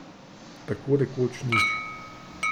Tako rekoč nič.